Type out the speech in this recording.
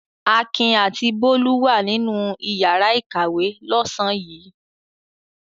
Akin àti Bólú wà nínú ìyàrá-ìkàwé lọ́sàn-án yìí.